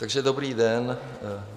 Takže dobrý den.